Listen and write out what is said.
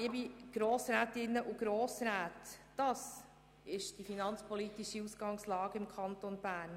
Liebe Grossrätinnen und Grossräte, das ist die finanzpolitische Ausgangslage im Kanton Bern.